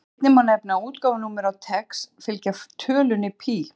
Einnig má nefna að útgáfunúmer á TeX fylgja tölunni pí.